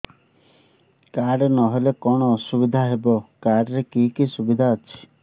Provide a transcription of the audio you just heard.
card ନହେଲେ କଣ ଅସୁବିଧା ହେବ କାର୍ଡ ରେ କି କି ସୁବିଧା ଅଛି